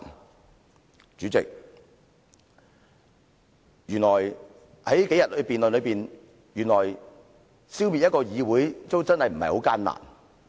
代理主席，從這數天的辯論可見，原來消滅一個議會並非很艱難。